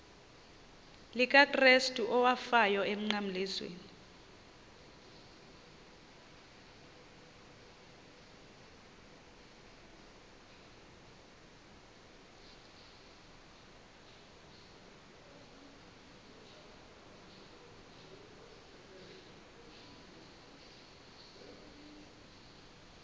likakrestu owafayo emnqamlezweni